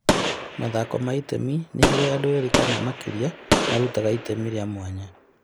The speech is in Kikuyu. Mathako ma itemi nĩ harĩa andũ erĩ kana makĩria marutaga itemi rĩa mwanya.